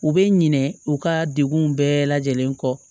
U bɛ ɲinɛ u ka degun bɛɛ lajɛlen kɔ